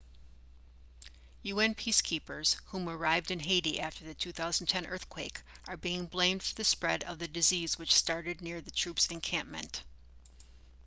un peacekeepers whom arrived in haiti after the 2010 earthquake are being blamed for the spread of the disease which started near the troop's encampment